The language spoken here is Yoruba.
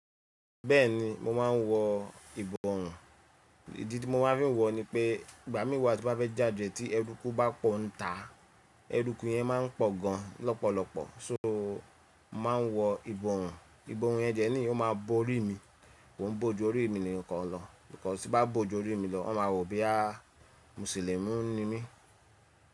Bẹ́ẹ̀ni mo máa ń wọ ìbọ̀wọ́ùn, ìdí tí mo máa ń fi wọ ni pé ìgbà mí wa ti bá fẹ́ jáde tí ẹrúkù bá pọ̀ ń ta, ẹrúkù yẹn máa ń pọ̀ gan lọ́pọ̀lọpọ̀, só máa ń wọ ìbọ̀wọ́ùn, ìbọ̀wọ́ùn yẹn jẹ́ ní òun máa bo orí mi, òun bo ju orí mi ni kàn lọ, nítorí tí bá bo ju orí mi lọ wọ́n máa wò bí à Musilimu ni mí.